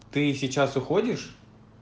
ты сейчас уходишь